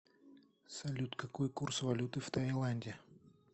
салют какой курс валюты в таиланде